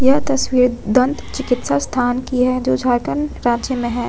यह तस्वीर दंत चिकित्सा संस्थान की है जो झारखंड राज्य में है।